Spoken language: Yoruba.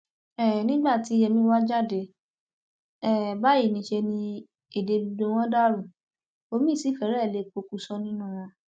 um nígbà tí yèmí wàá jáde um báyìí níṣẹ ni èdè gbogbo wọn dàrú omiín sì fẹrẹ lè pokùṣọ nínú wọn